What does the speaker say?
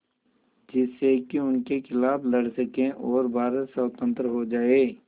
जिससे कि उनके खिलाफ़ लड़ सकें और भारत स्वतंत्र हो जाये